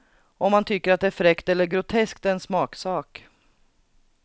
Om man tycker att det är fräckt eller groteskt är en smaksak.